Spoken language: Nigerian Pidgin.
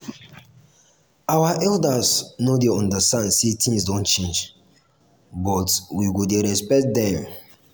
our elders no dey understand sey tins don change but we go dey respect dem.